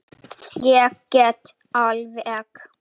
Ég get alveg.